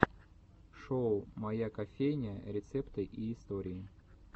шоу моя кофейня рецепты и истории